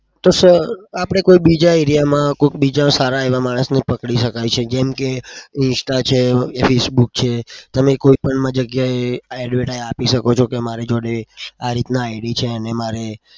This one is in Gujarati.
તો sir આપડે કોઈક બીજા area માં કોક બીજા એવા સારા માણસને પકડી શકાય છે. જેમ કે insta છે. english book છે. તમે કોઈ પણ જગ્યા એ advertise આપી શકો છો કે મારી જોડે આ રીતના id છે અને મારે